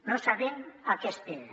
no sabem a què espera